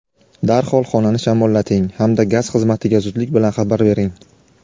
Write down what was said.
darhol xonani shamollating hamda gaz xizmatiga zudlik bilan xabar bering.